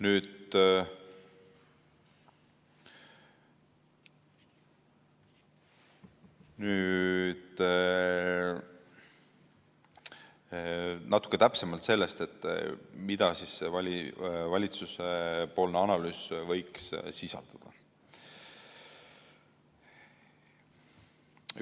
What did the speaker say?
Nüüd natuke täpsemalt sellest, mida see valitsuse analüüs võiks sisaldada.